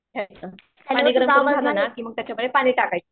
ठेवायचं झाला ना की मग त्याच्यामध्ये पाणी टाकायचं.